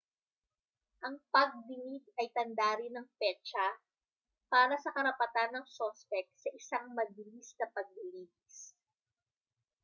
ang pagdinig ay tanda rin ng petsa para sa karapatan ng suspek sa isang mabilis na paglilitis